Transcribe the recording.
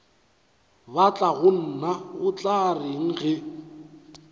batlagonna o tla reng ge